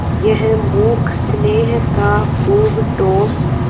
यह मूक स्नेह था खूब ठोस